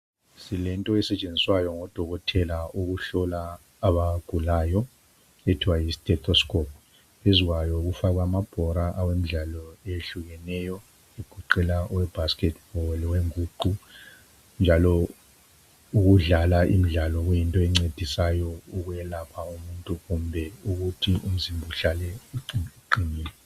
Silento esetshenziswayo ngodokotela ukuhlola abagulayo ethwa yi stethoscope phezu kwayo kufakwe amabhora awemdlalo ehlukeneyo egoqela ibasketball, inguqu njalo ukudlala imidlalo kuyinto encedisayo ukwelapha umuntu kumbe ukuthi umzimba uhlale uqinile.